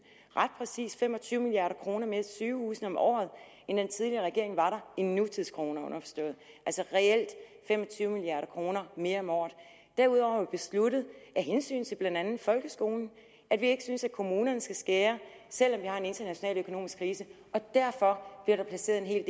ret præcist fem og tyve milliard kroner mere til sygehusene om året end den tidligere regering i nutidskroner underforstået altså reelt fem og tyve milliard kroner mere om året derudover besluttet med hensyn til blandt andet folkeskolen at vi ikke synes at kommunerne skal skære selv om vi har en international økonomisk krise og derfor bliver der placeret en hel